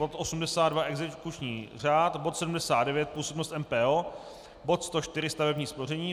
bod 82 - exekuční řád; bod 79 - působnost MPO; bod 104 - stavební spoření;